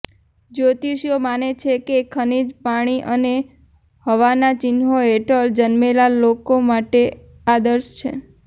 જ્યોતિષીઓ માને છે કે ખનિજ પાણી અને હવાના ચિહ્નો હેઠળ જન્મેલા લોકો માટે આદર્શ છે